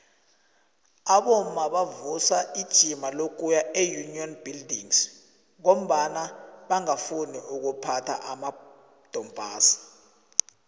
abomma bavusa ijima lokuya eunion buildings ngombana bangafuni ukuphatha amadompass